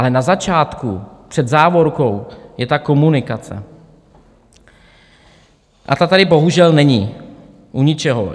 Ale na začátku před závorkou je ta komunikace a ta tady bohužel není u ničeho.